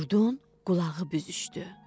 Qurdun qulağı büzüşdü.